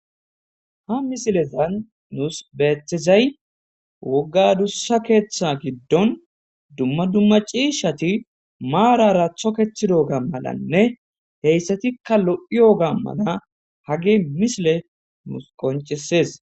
Ha misilezan nuus beetizay wogga adussa keeththa giddon dumma dumma ciishshati maarara toketidoga malanne hessatikka lo'iyoga mala hagey misiley nuus qonccisees.